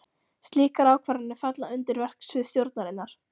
Slíkar ákvarðanir falla undir verksvið stjórnarinnar.